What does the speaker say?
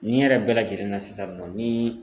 Ni yɛrɛ bɛɛ lajɛlen na sisan nɔ ni